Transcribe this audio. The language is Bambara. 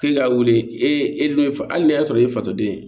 K'e ka wuli e e dun fa ni ne y'a sɔrɔ e fatɔden ye